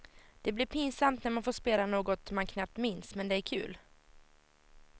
Det blir pinsamt när man får spela något man knappt minns, men det är kul.